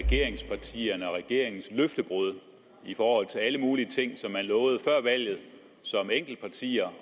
regeringspartierne og regeringens løftebrud i forhold til alle mulige ting som man lovede før valget som enkeltpartier